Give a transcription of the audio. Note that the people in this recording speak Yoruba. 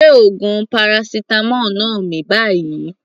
Gbé oògùn paracetamol náà mì báyìí.